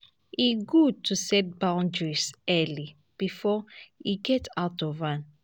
e gud to set boundaries early bifor e get out of hand.